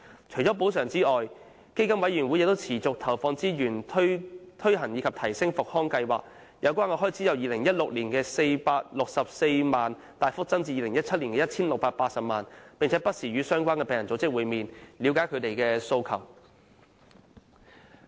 除補償外，基金委員會亦持續投放資源推行及提升復康計劃，使有關開支由2016年的464萬元大幅增至2017年的 1,680 萬元，並且不時與相關病人組織會面，以了解他們的訴求。